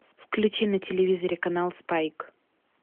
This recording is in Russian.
включи на телевизоре канал спайк